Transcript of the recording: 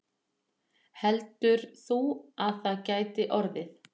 Heldur þú að það gæti orðið?